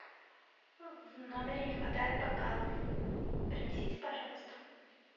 в номере не хватает бокалов принесите пожалуйста